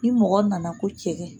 Ni mɔgɔ nana ko cɛgɛ